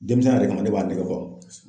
Demisɛnya yɛrɛ kama ne b'a nege bɔ